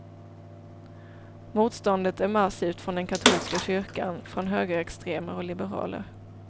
Motståndet är massivt från den katolska kyrkan, från högerextremer och liberaler.